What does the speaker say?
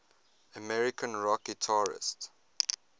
american rock guitarists